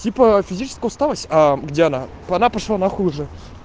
типа физическую усталость где она она пошла на хуй уже